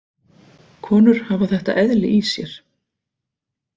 Konur hafa þetta eðli í sér.